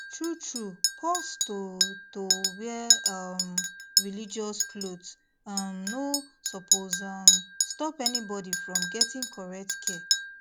truetrue pause to to wear um religious cloth um no suppose um stop anybody from getting correct care